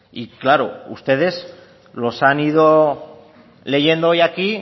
y claro ustedes los han ido leyendo hoy aquí